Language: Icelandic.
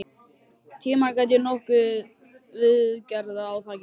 Tímann gat ég notað til viðgerða á þakinu.